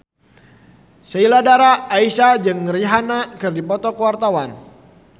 Sheila Dara Aisha jeung Rihanna keur dipoto ku wartawan